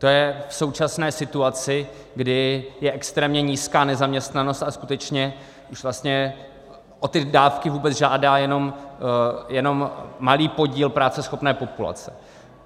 To je v současné situaci, kdy je extrémně nízká nezaměstnanost a skutečně už vlastně o ty dávky vůbec žádá jenom malý podíl práceschopné populace.